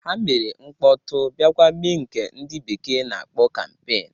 Ha mere mkpọtụ ofụma bịakwa mee nke ndị bekee na-akpọ kampeen